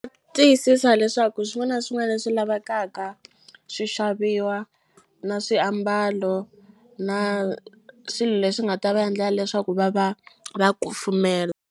Tiyisisa leswaku swin'wana na swin'wana leswi lavekaka swi xaviwa na swiambalo na swilo leswi nga ta va endla leswaku va va va kufumela.